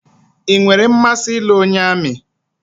I nwèrè mmasị ịlụ onye amị